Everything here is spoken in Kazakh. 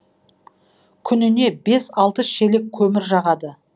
күніне бес алты шелек көмір жағады